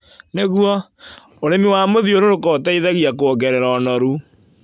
Nĩguo, ũrĩmi wa mũthiũrũrũko ũteithagia kuongerera ũnoru